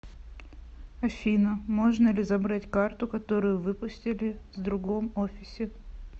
афина можно ли забрать карту которую выпустили с другом офисе